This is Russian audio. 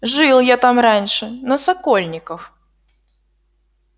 жил я там раньше на сокольниках